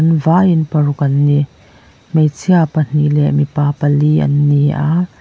an vaiin paruk an ni hmeichhia pahnih leh mipa pali an ni a.